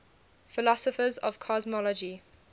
philosophers of cosmology